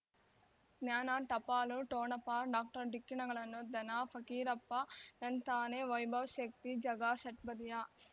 ಜ್ಞಾನ ಟಪಾಲು ಠೋಣಪ ಡಾಕ್ಟರ್ ಢಿಕ್ಕಿ ಣಗಳನು ಧನ ಫಕೀರಪ್ಪ ಳಂತಾನೆ ವೈಭವ್ ಶಕ್ತಿ ಝಗಾ ಷಟ್ಪದಿಯ